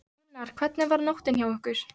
Gunnar: Hvernig var nóttin hjá ykkur?